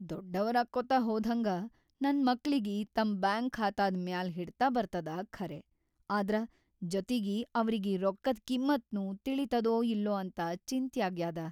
ದೊಡ್ಡವರಾಕ್ಕೊತ ಹೋದ್ಹಂಗ ನನ್‌ ಮಕ್ಳಿಗಿ ತಮ್‌ ಬ್ಯಾಂಕ್‌ ಖಾತಾದ್‌ ಮ್ಯಾಲ್ ಹಿಡ್ತ ಬರ್ತದ ಖರೇ ಆದ್ರ ಜೊತಿಗಿ ಅವ್ರಿಗಿ ರೊಕ್ಕದ್‌ ಕಿಮ್ಮತ್‌ನೂ ತಿಳಿತದೋ ಇಲ್ಲೊ ಅಂತ ಚಿಂತ್ಯಾಗ್ಯಾದ.